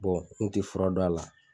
Bɔn n te fura dɔn a la